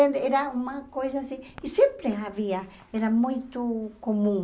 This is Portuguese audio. Era uma coisa assim, e sempre havia, era muito comum.